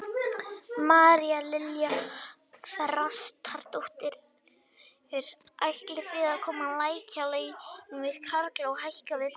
María Lilja Þrastardóttir: Ætlið þið að lækka laun við karla og hækka við konur?